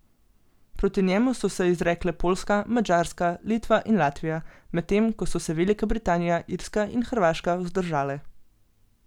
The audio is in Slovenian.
Proti njemu so se izrekle Poljska, Madžarska, Litva in Latvija, medtem ko so se Velika Britanija, Irska in Hrvaška vzdržale.